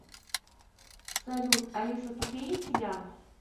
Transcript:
салют алиса тупее тебя